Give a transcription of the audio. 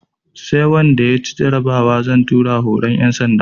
Sai wanda ya ci jarabawa zan tura horon ƴan sanda